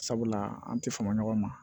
Sabula an ti fama ɲɔgɔn ma